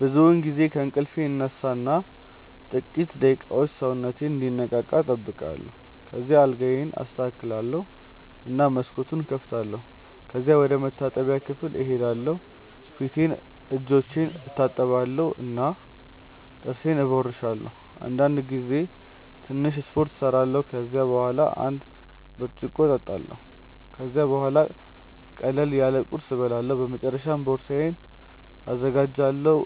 ብዙውን ጊዜ ከእንቅልፌ እነሳ እና ጥቂት ደቂቃዎች ሰውነቴን እንዲነቃ እጠብቃለሁ። ከዚያ አልጋዬን አስተካክላለሁ እና መስኮቱን እከፍታለሁ። ከዚያም ወደ መታጠቢያ ክፍል እሄዳለሁ ፊቴንና እጆቼን እታጠባለሁ እና ጥርሴን እቦርሳለሁ። አንዳንድ ጊዜ ትንሽ ስፖርት እሰራለሁ። ከዚያ በኋላ አንድ ብርጭቆ እጠጣለሁ። ከዚያም ቡሃላ ቅለል ያለ ቁርስ እበላለሁ። በመጨረሻ ቦርሳዬን እዘጋጃለሁ